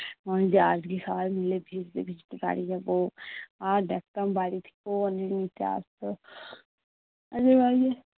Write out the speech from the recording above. মনে হয় যে আজকে সবাই মিলে ভিজতে ভিজতে বাড়ি যাবো। আর দেখতাম বাড়ি থেকেও অনেকে নিতে আসতো